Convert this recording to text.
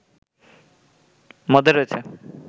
মধ্যে রয়েছে